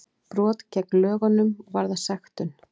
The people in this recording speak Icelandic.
Brot gegn lögunum varða sektum